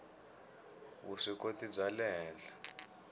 vuswikoti bya le henhla